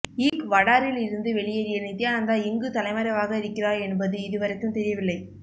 ஈக்வடாரில் இருந்து வெளியேறிய நித்யானந்தா எங்கு தலைமறைவாக இருக்கிறார் என்பது இதுவரைக்கும் தெரியவில்லை